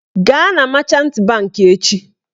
Gaa na machant bankị echi!